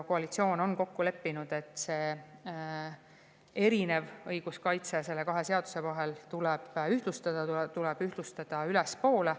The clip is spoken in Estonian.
Koalitsioon on kokku leppinud, et see kahe seaduse erinev õiguskaitse tuleb ühtlustada, tuleb ühtlustada ülespoole.